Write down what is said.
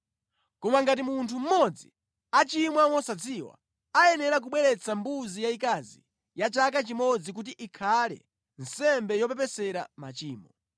“ ‘Koma ngati munthu mmodzi achimwa mosadziwa, ayenera kubweretsa mbuzi yayikazi ya chaka chimodzi kuti ikhale nsembe yopepesera machimo.